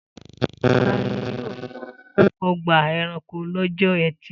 Ta ni yóò lọ ọgbà-ẹranko lọ́jọ́ ẹtì?